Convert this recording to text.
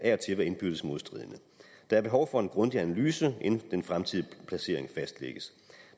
være indbyrdes modstridende der er behov for en grundig analyse inden den fremtidige placering fastlægges